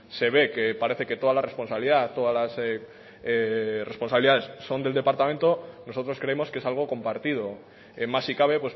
se ve que parece que toda la responsabilidad todas las responsabilidades son del departamento nosotros creemos que es algo compartido más si cabe